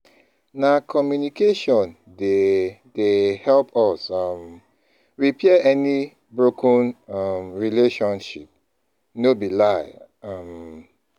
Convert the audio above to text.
Na communication dey dey help us um repair any broken um relationship, no be lie. um